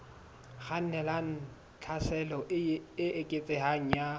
kgannelang tlhaselong e eketsehang ya